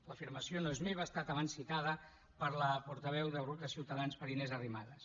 l’afirmació no és meva ha estat abans citada per la portaveu del grup de ciutadans per inés arrimadas